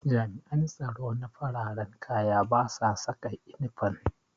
Jami'an tsaro na fararan kaya basa saka inifam